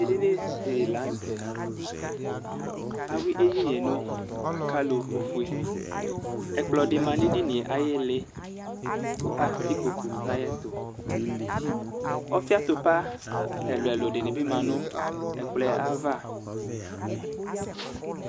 Edinidi lanʋtɛ awi ɛdini yɛ nʋ akalo ofue ɛkplɔdi manʋ edini yɛ ayʋ iili kʋ atɛ ikpokʋ nʋ ayʋ ɛtʋ ɔfi atupa ɛlʋ ɛlʋ di manʋ ɛkplɔ yɛ ava